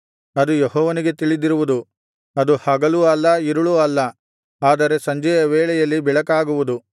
ಅದು ಯೆಹೋವನಿಗೆ ತಿಳಿದಿರುವುದು ಅದು ಹಗಲೂ ಅಲ್ಲ ಇರುಳೂ ಅಲ್ಲ ಆದರೆ ಸಂಜೆಯ ವೇಳೆಯಲ್ಲಿ ಬೆಳಕಾಗುವುದು